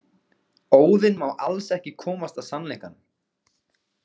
Óðinn má alls ekki komast að sannleikanum.